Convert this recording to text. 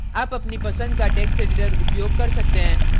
आप अपनी पसंद का text editor उपयोग कर सकते हैं